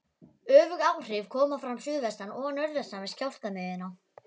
Öfug áhrif koma fram suðvestan og norðaustan við skjálftamiðjuna.